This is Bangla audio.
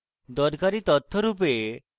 দরকারী তথ্য রূপে